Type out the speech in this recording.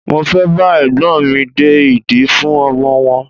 Mo fẹ́ bá Ẹ̀gbọ́n mi de ìdí fún ọmọ wọn.